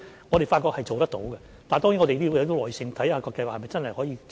我們發覺是做得到的，但當然我們要有耐性，看看計劃是否真的可以持續。